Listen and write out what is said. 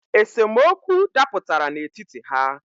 Esemokwu daputara n’etiti ha